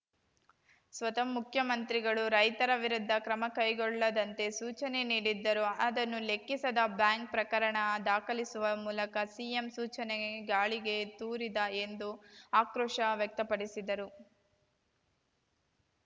ಸ್ವತಃ ಮುಖ್ಯಮಂತ್ರಿಗಳು ರೈತರ ವಿರುದ್ಧ ಕ್ರಮ ಕೈಗೊಳ್ಳದಂತೆ ಸೂಚನೆ ನೀಡಿದ್ದರೂ ಅದನ್ನೂ ಲೆಕ್ಕಿಸದ ಬ್ಯಾಂಕ್‌ ಪ್ರಕರಣ ದಾಖಲಿಸುವ ಮೂಲಕ ಸಿಎಂ ಸೂಚನೆ ಗಾಳಿಗೆ ತೂರಿದ ಎಂದು ಆಕ್ರೋಶ ವ್ಯಕ್ತಪಡಿಸಿದರು